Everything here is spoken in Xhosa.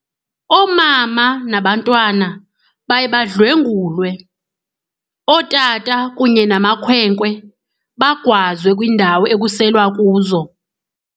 Oomama nabantwana baye badlwengulwe, ootata kunye namakhwenkwe bagwazwe kwiindawo ekuselwa kuzo.